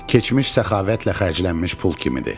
Keçmiş səxavətlə xərclənmiş pul kimidir.